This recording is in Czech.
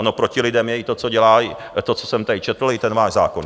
Ono proti lidem je i to, co jsem tady četl, i ten váš zákon.